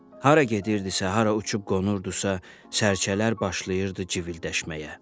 Hara gedirdisə, hara uçub qonurdusa, sərgələr başlayırdı cıvıldəşməyə.